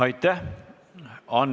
Aitäh!